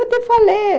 Eu te falei.